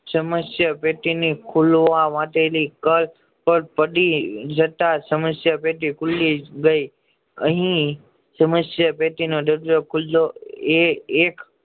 સમસ્યા પેટી ને ખોલવા માટે પડી જતા સમસ્યા પેટી ખુલી ગયા અહીં સમસ્યા પેટી નો ઢગલો ખુલો એ એક